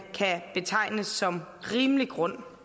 kan betegne som rimelig grund